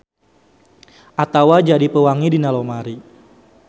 Atawa jadi pewangi dina lomari.